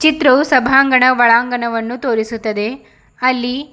ಚಿತ್ರವು ಸಭಾಂಗಣ ಒಳಾಂಗವನ್ನು ತೋರಿಸುತ್ತದೆ ಅಲ್ಲಿ--